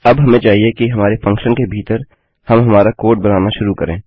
अब हमें चाहिए कि हमारे फंक्शन के भीतर हम हमारा कोड बनाना शुरू करें